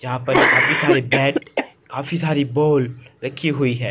यहां पर काफी सारे बैट काफी सारे बाल रखी हुई है।